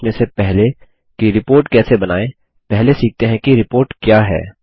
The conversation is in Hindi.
यह सीखने से पहले कि रिपोर्ट कैसे बनाएँपहले सीखते हैं कि रिपोर्ट क्या है